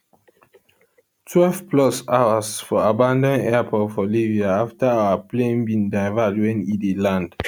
twelve plus hours for abanAcceptedd airport for libya afta our plane bin divert wen e dey land